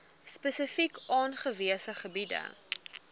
spesifiek aangewese gebiede